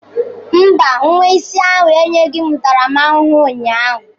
Mba, nwa isi ahụ enyeghị m ntaramahụhụ ụnyaahụ.